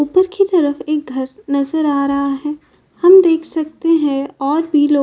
ऊपर की तरफ एक घर नजर आ रहा है। हम देख सकते हैं और भी लोग --